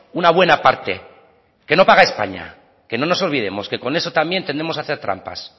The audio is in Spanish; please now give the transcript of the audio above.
una buena parte que no paga españa que no nos olvidemos que con eso también tendemos a hacer trampas